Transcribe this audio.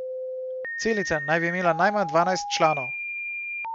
Celica naj bi imela najmanj dvanajst članov.